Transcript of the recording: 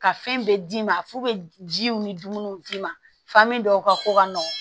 Ka fɛn bɛɛ d'i ma f'u bɛ jiw ni dumuniw d'i ma fami dɔw ka ko ka nɔgɔ